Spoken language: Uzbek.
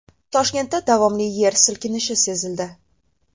Toshkentda davomli yer silkinishi sezildi.